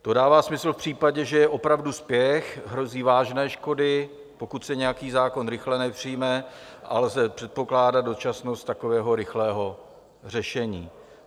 To dává smysl v případě, že je opravdu spěch, hrozí vážné škody, pokud se nějaký zákon rychle nepřijme a lze předpokládat dočasnost takového rychlého řešení.